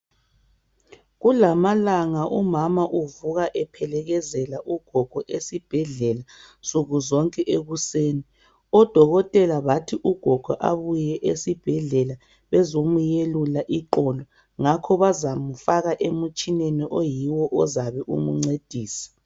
Kulamalanga umama uvuka ephelekezela ugogo esibhedlela nsukuzonke ekuseni. Odokotela bathi ugogo abuye esibhedlela ezomuyelula iqolo ngakho bazamufaka emutshineni oyiwo ozabe emncedisa.